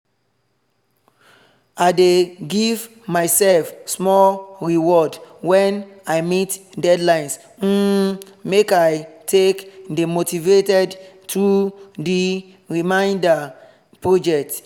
i dey give myself small reward when i meet deadlines um make i take dey motivated through the remainder project